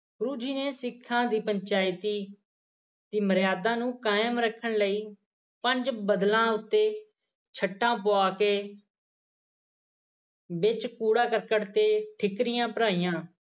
ਗੁਰੂ ਜੀ ਨੇ ਸਿੱਖਾਂ ਦੀ ਪੰਚਾਇਤੀ ਦੀ ਮਰਿਆਦਾ ਨੂੰ ਕਾਇਮ ਰੱਖਣ ਲਈ ਪੰਜ ਬੱਦਲਾਂ ਉੱਤੇ ਛੱਟਾਂ ਪਾ ਕੇ ਵਿੱਚ ਕੂੜਾ-ਕਰਕਟ ਤੇ ਠੀਕਰੀਆਂ ਭਰਾਈਆਂ